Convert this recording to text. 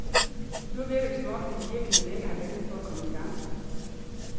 Nu virker det som om, de i virkeligheden længe har ventet på at komme i gang.